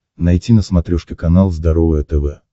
найти на смотрешке канал здоровое тв